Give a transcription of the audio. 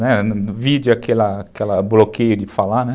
No vídeo, aquela bloqueio de falar, né.